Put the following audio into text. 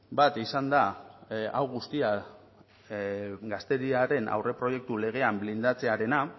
bat izan da hau guztia gazteriaren aurreproiektu legean blindatzearena